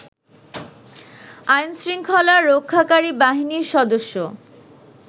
আইনশৃঙ্খলা রক্ষাকারী বাহিনীর সদস্য